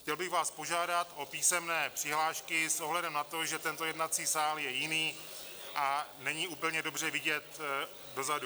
Chtěl bych vás požádat o písemné přihlášky s ohledem na to, že tento jednací sál je jiný a není úplně dobře vidět dozadu.